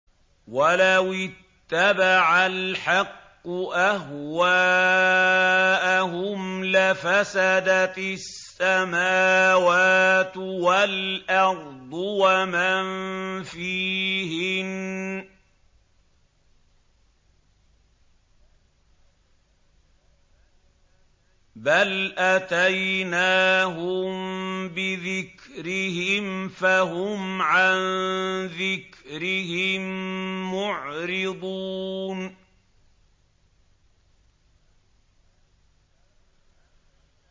وَلَوِ اتَّبَعَ الْحَقُّ أَهْوَاءَهُمْ لَفَسَدَتِ السَّمَاوَاتُ وَالْأَرْضُ وَمَن فِيهِنَّ ۚ بَلْ أَتَيْنَاهُم بِذِكْرِهِمْ فَهُمْ عَن ذِكْرِهِم مُّعْرِضُونَ